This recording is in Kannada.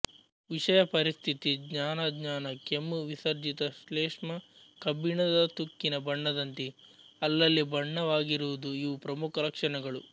ವಿಷಯ ಪರಿಸ್ಥಿತಿ ಜ್ಞಾನಾಜ್ಞಾನ ಕೆಮ್ಮು ವಿಸರ್ಜಿತ ಶ್ಲೇಷ್ಮ ಕಬ್ಬಿಣದ ತುಕ್ಕಿನ ಬಣ್ಣದಂತೆ ಅಲ್ಲಲ್ಲಿ ಬಣ್ಣವಾಗಿರುವುದು ಇವು ಪ್ರಮುಖ ಲಕ್ಷಣಗಳು